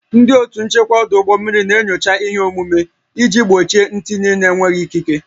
Ndị otu nchekwa ọdụ ụgbọ mmiri na-enyocha ihe omume iji gbochie ntinye na-enweghị ikike